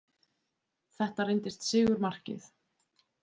Þetta reyndist sigurmarkið